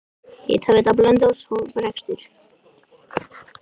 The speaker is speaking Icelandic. Hitaveita Blönduóss hóf rekstur.